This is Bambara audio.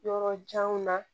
Yɔrɔ janw na